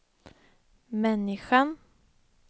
människan